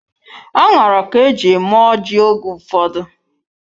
Aṅara ka eji eme ọjị oge ụfọdụ.